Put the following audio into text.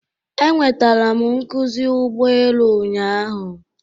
Enwetara m nkuzi ụgbọ elu ụnyaahụ